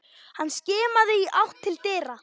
Hann skimaði í átt til dyra.